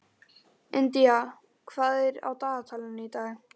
India, hvað er á dagatalinu í dag?